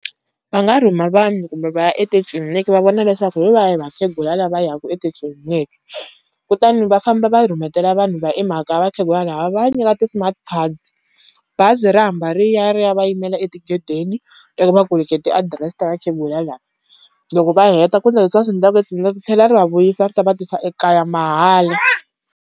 Va nga rhuma vanhu kumbe va ya etitliniki va vona leswaku hi vahi vakhegula la va ya ku etitliliniki, kutani va famba va rhumetela vanhu va i mhaka va tlhe va ya nyika ti-smart cards. Bazi ra ri hamba ri ya ri ya va yimela etigedeni ivi va ku nyiketa adirese ta vakhegula lava. Loko va heta ku endla leswi va swi endlaka ri tlhela ri va vuyisa ri ta va tisa ekaya mahala.